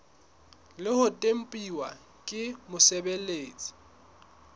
le ho tempuwa ke mosebeletsi